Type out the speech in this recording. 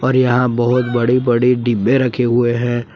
और यहां बहुत बड़ी बड़ी डिब्बे रखे हुए हैं।